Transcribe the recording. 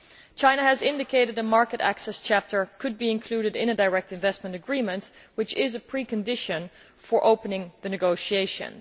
China has indicated that the market access chapter could be included in a direct investment agreement, which is a precondition for opening the negotiations.